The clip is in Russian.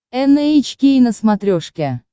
эн эйч кей на смотрешке